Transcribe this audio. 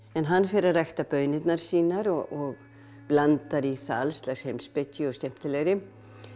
hann fer að rækta baunirnar sínar og blandar í það alls slags heimspeki og skemmtilegri